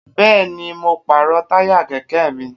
Bẹ́ẹ̀ni, mo pàrọ̀ táyà kẹ̀kẹ́ mi